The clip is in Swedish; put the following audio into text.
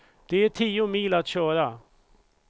Det är tio mil att köra.